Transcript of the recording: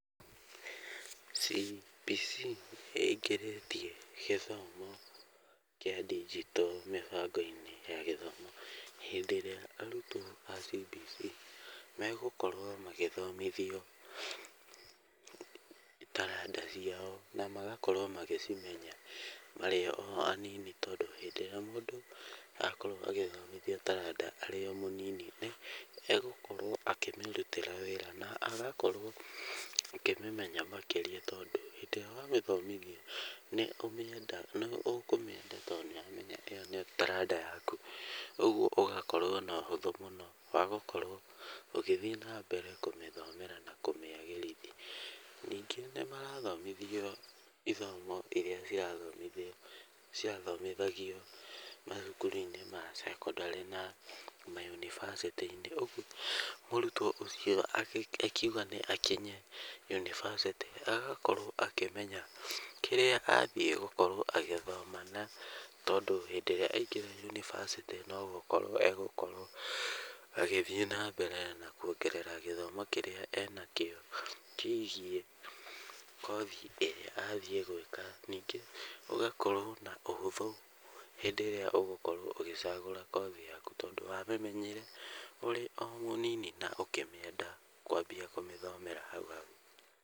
CBC nĩ ĩingĩrĩtie gĩthomo kĩa ndigito mĩbango-inĩ ya gĩthomo. Hĩndĩ ĩrĩa arutwo a CBC megũkorwo magĩthomithio taranda ciao na magakorwo magĩcimenya marĩ o anini. Tondũ hĩndĩ ĩrĩa mũndũ akorwo agĩthomithio taranda arĩ o mũnini, n egũkorwo akĩmĩrutĩra wĩra na agakorwo akĩmĩmenya makĩrĩa tondũ hĩndĩ ĩrĩa wamĩthomithia nĩ ũkũmĩenda tondũ nĩ ũramenya ĩyo nĩyo taranda yaku. Ũguo ũgakorwo na ũhũthũ mũno wa gũkorwo ũgĩthiĩ na mbere kũmĩthomera na kũmĩagĩrithia. Ningĩ nĩ marathomithio ithomo irĩa cirathomithio cirathomithagio mathukuru-inĩ ma sekondarĩ na mayunivasĩtĩ. Ũguo mũrutwo akiuga nĩ akinye yunivasĩtĩ agakorwo akĩmenya kĩrĩa athiĩ gũkorwo agĩthoma. Tondũ hĩndĩ ĩrĩa aingĩra yunivasĩtĩ no gũkorwo egũkorwo agĩthiĩ na mbere na kuongerera gĩthomo kĩrĩa enakĩo, kĩĩgiĩ kothi ĩrĩa athiĩ gwĩka. Ningĩ ũgakorwo na ũhũthũ hĩndĩ ĩrĩa ũgũkorwo ũgĩcagũra kothi yaku tondũ wamĩmenyire ũrĩ o mũnini na ũkĩmĩenda kwambia kũmĩthomera hau hau.